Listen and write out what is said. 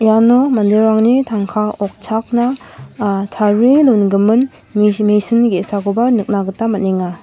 uano manderangni tangka okchakna ah tarie dongimin mis-misin ge·sakoba nikna gita man·enga.